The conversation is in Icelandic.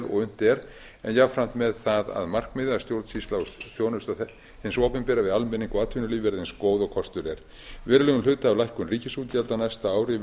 vel og unnt er á jafnframt með það að markmiðið að stjórnsýsla og þjónusta hins opinbera við almenning og atvinnulíf verði eins góð og kostur er verulegum hluta ríkisútgjalda á næsta ári